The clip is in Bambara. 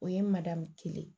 O ye madamu kelen ye